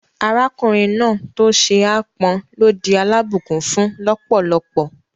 Arákùnrin náà tó ṣe ápọn ló di alábùnkún-fún lọ́pọ̀lọ́pọ̀